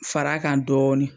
Fara kan dɔɔnin.